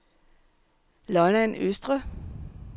Lolland Østre